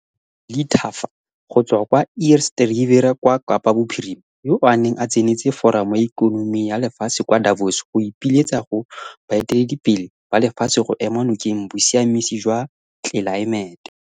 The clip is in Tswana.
Ayakha Melithafa go tswa kwa Eerste Rivier kwa Kapa Bophirima, yoo a neng a tsenetse Foramo ya Ikonomi ya Lefatshe kwa Davos go ipiletsa go baeteledipele ba lefatshe go ema nokeng bosiamisi jwa tlelaemete.